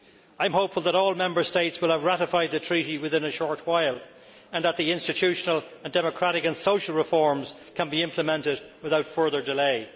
I am hopeful that all Member States will have ratified the Treaty within a short while and that the institutional and democratic and social reforms can be implemented without further delay.